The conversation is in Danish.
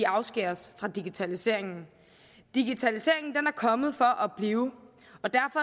afskæres fra digitaliseringen digitaliseringen er kommet for at blive